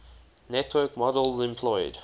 network models employed